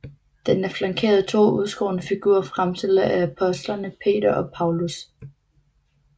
Den er flankeret af to udskårne figurer fremstillende apostlene Peter og Paulus